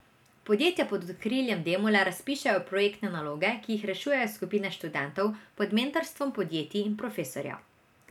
Podjetja pod okriljem Demole razpišejo projektne naloge, ki jih rešujejo skupine študentov pod mentorstvom podjetij in profesorjev.